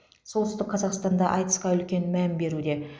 солтүстік қазақстанда айтысқа үлкен мән беруде